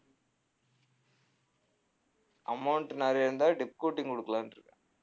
amount நிறைய இருந்தா dip coating குடுக்கலான்டிருக்கேன்